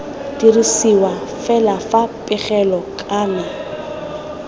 dirisiwa fela fa pegelo kana